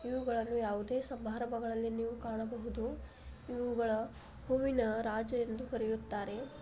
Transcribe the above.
ಇವುಗಳಲ್ಲಿ ಯಾವುದೇ ಸಮಾರಂಭಗಳಲ್ಲಿ ಇವುಗಳು ಹೂವಿನ ರಾಜ ಎಂದು ಕರೆಯುತ್ತಾರೆ.